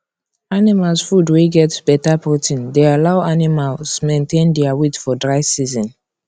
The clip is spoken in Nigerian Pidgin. animals food wey get better protein dey allow animals maintain dia weight for dry season